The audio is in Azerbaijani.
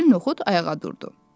Vəkil Noxud ayağa durdu.